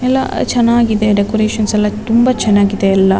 ಎಲ್ಲ ಚೆನ್ನಾಗಿದೆ ಡೆಕೋರೇಷನ್ಸ್ ಎಲ್ಲ ತುಂಬಾ ಚೆನ್ನಾಗಿದೆ.